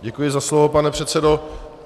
Děkuji za slovo, pane předsedo.